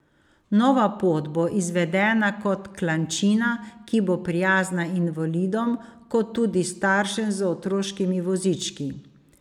Nova pot bo izvedena kot klančina, ki bo prijazna invalidom, kot tudi staršem z otroškimi vozički.